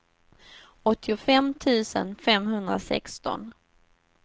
åttiofem tusen femhundrasexton